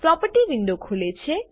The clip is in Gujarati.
પ્રોપર્ટી વિન્ડો ખુલે છે